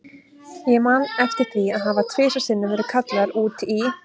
Ég man eftir því að hafa tvisvar sinnum verið kallaður út í